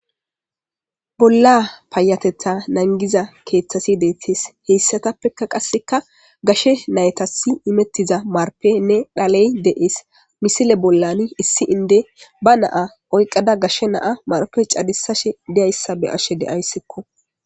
bolla payatetha nangiza keeththasi deettees heyssatappeka qasseka gashe naytasi imettiza marpenne dhaley de7ees misile bollan issi inde ba naa oyqqada gashe naa marpe cadisashe deayssa be ashe deayssekko